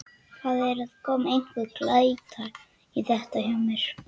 Það er að koma einhver glæta í þetta hjá mér.